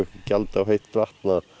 gjald fyrir heitt vatn